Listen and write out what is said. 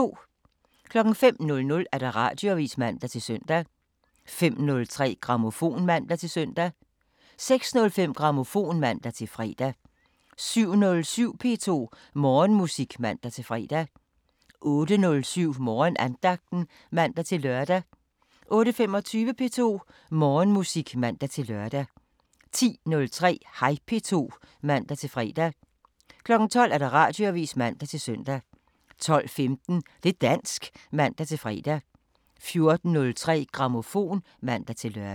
05:00: Radioavisen (man-søn) 05:03: Grammofon (man-søn) 06:05: Grammofon (man-fre) 07:07: P2 Morgenmusik (man-fre) 08:07: Morgenandagten (man-lør) 08:25: P2 Morgenmusik (man-lør) 10:03: Hej P2 (man-fre) 12:00: Radioavisen (man-søn) 12:15: Det' dansk (man-fre) 14:03: Grammofon (man-lør)